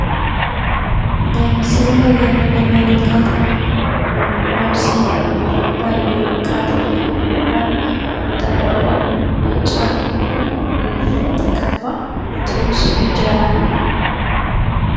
በምስሉ ላይ የምንመለከተው አብዚ በመባል ወይም ቀጠኛ በመባል እንጠራዋለን። ጨው የተቀባ ትኩስ እንጀራ ነው።